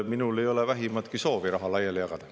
Minul ei ole vähimatki soovi raha laiali jagada.